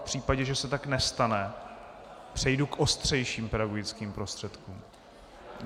V případě, že se tak nestane, přejdu k ostřejším pedagogickým prostředkům.